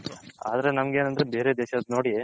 ಆದ್ರೆ ನಮ್ಮಗ್ ಏನಂದ್ರೆ ಬೇರೆ ದೇಶದ ನೋಡಿ